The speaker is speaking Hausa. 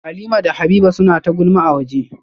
Halimah da Habiba suna ta gulma a waje